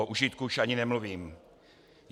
O užitku už ani nemluvím.